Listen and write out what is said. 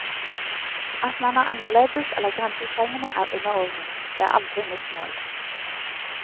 At man er annerledes eller grensesprengende er underordnet, det er aldri mitt mål.